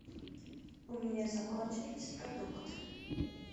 у меня закончились продукты